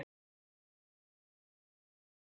Brynhildur, hvaða stoppistöð er næst mér?